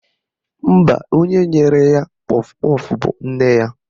Mba, onye nyere ya kpọf kpọf bụ nne ya